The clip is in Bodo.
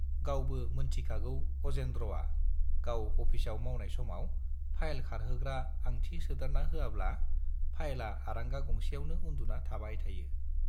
गावबो मोनथिखागौ अजेन्द्रआ गाव अफिसाव मावनाय समाव फाइल खारहोग्रा आंथि सोदेरना होआब्ला फाइलआ आरांगा गंसेआवनो उन्दुना थाबाय थायो।